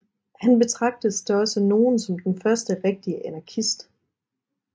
Han betragtes da også af nogle som den første rigtige anarkist